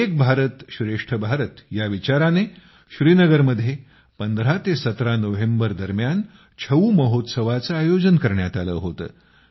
एक भारत श्रेष्ठ भारत ह्या विचाराने श्रीनगरमध्ये १५ ते १७ नोव्हेंबर दरम्यान छऊ महोत्सवाचे आयोजन करण्यात आले होते